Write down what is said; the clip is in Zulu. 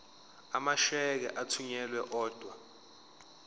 amasheke athunyelwa odwa